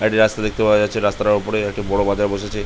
একটা রাস্তা দেখতে পাওয়া যাচ্ছে রাস্তা তার উপরে একটি বড়ো বাজার বসেছে।